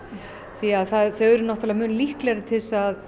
því þau eru mun líklegri til að